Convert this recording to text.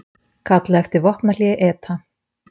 Kalla eftir vopnahléi ETA